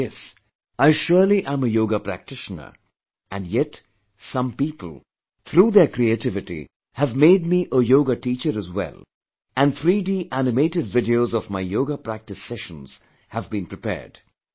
But yes, I surely am a Yoga practitioner and yet some people, through their creativity, have made me a Yoga teacher as well and 3D animated videos of my yoga practice sessions have been prepared